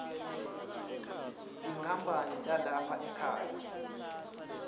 tinkhapani talapha ekhaya